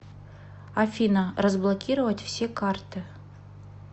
афина разблокировать все карты